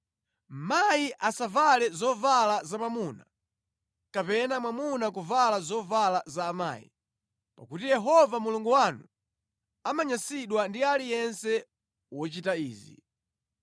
Akazi asavale zovala za amuna, kapena mwamuna kuvala zovala za akazi, pakuti Yehova Mulungu wanu amanyansidwa ndi aliyense wochita izi.